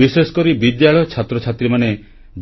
ବିଶେଷକରି ବିଦ୍ୟାଳୟ ଛାତ୍ରଛାତ୍ରୀମାନେ